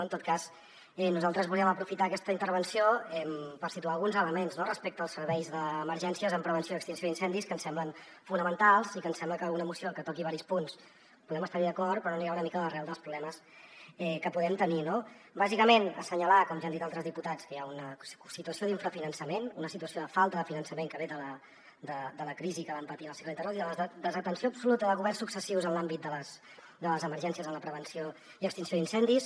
en tot cas nosaltres volíem aprofitar aquesta intervenció per situar alguns elements no respecte als serveis d’emergències en prevenció i extinció d’incendis que ens semblen fonamentals i que ens sembla que amb una moció que toqui diversos punts podem estar hi d’acord però no anirà una mica a l’arrel dels problemes que podem tenir no bàsicament assenyalar com ja han dit altres diputats que hi ha una situació d’infrafinançament una situació de falta de finançament que ve de la crisi que vam patir en el cicle anterior i de la desatenció absoluta de governs successius en l’àmbit de les emergències en la prevenció i extinció d’incendis